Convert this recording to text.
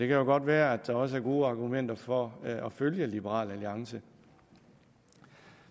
jo godt være der også er gode argumenter for at følge liberal alliance